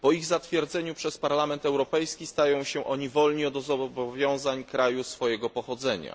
Po ich zatwierdzeniu przez Parlament Europejski stają się oni wolni od zobowiązań kraju swojego pochodzenia.